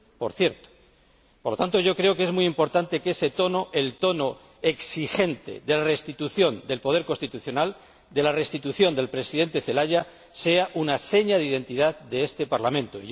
Por lo tanto, creo que es muy importante que ese tono, el tono exigente de la restitución del poder constitucional, de la restitución del Presidente Celaya, sea una seña de identidad de este Parlamento.